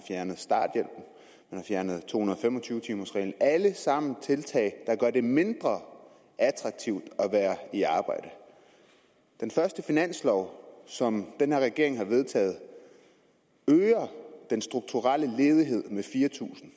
fjernet to hundrede og fem og tyve timers reglen alle sammen tiltag der gør det mindre attraktivt at være i arbejde den første finanslov som den her regering har vedtaget øger den strukturelle ledighed med fire tusind